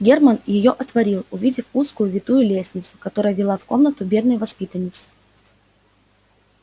германн её отворил увидел узкую витую лестницу которая вела в комнату бедной воспитанницы